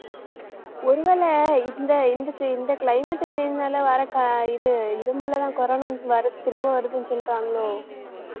ஒருவேளை இந்த இந்~ இந்த climate change னால வர்ற ஆஹ் இது இருமலைதான் corona வருது திரும்ப வருதுன்னு சொல்லிட்டாங்களோ